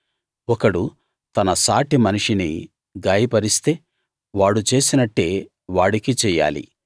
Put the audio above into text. ఒకడు తన సాటి మనిషిని గాయపరిస్తే వాడు చేసినట్టే వాడికీ చెయ్యాలి